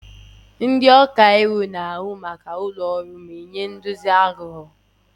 Ndị ọka iwu na-ahụ maka ụlọ ọrụ ma nye nduzi aghụghọ.